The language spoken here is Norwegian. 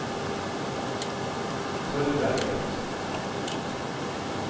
Tørberget